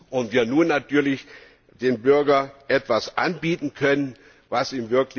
und wir nun natürlich dem Bürger etwas anbieten können, was ihm bei Reisen usw.